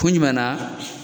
Kun jumɛn na